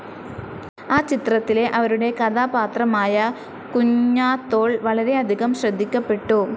ആ ചിത്രത്തിലെ അവരുടെ കഥാപാത്രമായ കുഞ്ഞാത്തോൾ വളരെ അധികം ശ്രദ്ധിക്കപ്പെട്ടു.